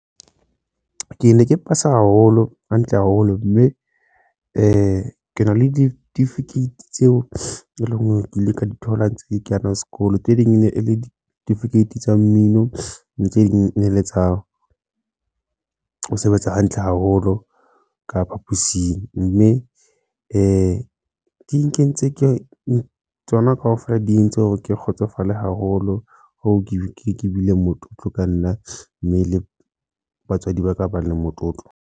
Ke ne ke pasa haholo hantle haholo mme ke na le ditifikeiti tseo eleng hore ke ile ka di thola tse kena sekolo tse ding e ne e le ditifikeiti tsa mmino, ntle ding ne le tsa hao ho sebetsa hantle haholo ka phapusing mme di di nkentse ke tsona kaofela di entse hore ke kgotsofale haholo, ho ke ke ke bile motlotlo ka nna mme le batswadi ba ka ba le motlotlo.